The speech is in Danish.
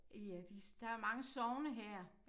I øh de der er mange sogne her